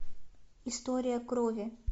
история крови